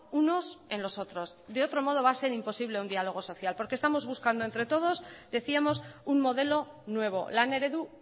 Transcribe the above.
unos en los otros de otro modo va a ser imposible un dialogo social porque estamos buscando entre todos decíamos un modelo nuevo lan eredu